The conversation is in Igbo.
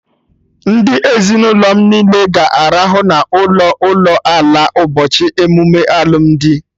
Ndị ezinụlọ m niile ga-arahụ n'ụlọ ụlọ ala na ụbọchị emume alụmdi